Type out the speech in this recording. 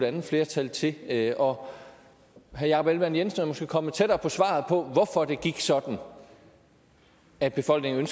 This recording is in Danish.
andet flertal til herre jakob ellemann jensen er måske kommet tættere på svaret på hvorfor det gik sådan at befolkningen